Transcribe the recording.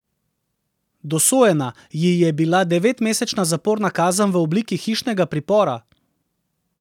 Dosojena ji je bila devetmesečna zaporna kazen v obliki hišnega pripora.